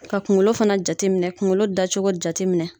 Ka kunkolo fana jateminɛ kunkolo dacogo jateminɛ.